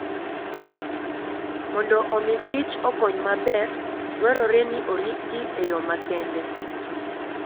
Mondo omi kich okony maber, dwarore ni oritgi e yo makende.